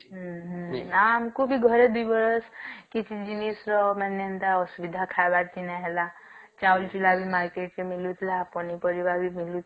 ହୁଁ ହୁଁ ଆମକୁ ବି ଘରେ ଦୁଇ ବରଷ କିଛି ଜିନିଷ ର ମାନେ ଏନ୍ତା ମାନେ ଖାଇବାର ସିନା ହେଲା ଚାଉଳ ଚୁଲା ବି